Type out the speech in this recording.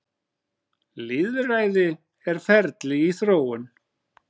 Lýðræði er ferli í þróun.